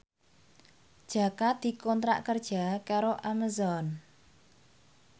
Jaka dikontrak kerja karo Amazon